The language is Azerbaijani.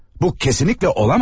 Bu kesinlikle olamaz.